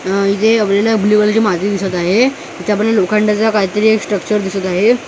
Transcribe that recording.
अ इथे आपल्याला ब्लू कलरची माती दिसत आहे इथे आपण लोखंडाचा काहीतरी एक स्ट्रक्चर दिसत आहे मागे खूप सा--